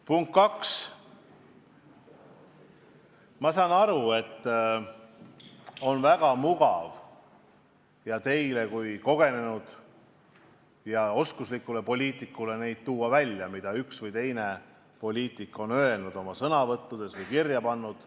Punkt kaks: ma saan aru, et teil kui kogenud ja oskuslikul poliitikul on väga mugav välja tuua, mida üks või teine poliitik on öelnud oma sõnavõttudes või kirja pannud.